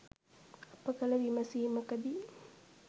අප කළ විමසීමකදී